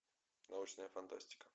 научная фантастика